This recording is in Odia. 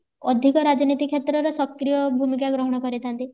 ଅଧିକ ରାଜନୀତି କ୍ଷେତ୍ରର ସକ୍ରିୟ ଭୂମିକା ଗ୍ରହଣ କରି ଥାନ୍ତି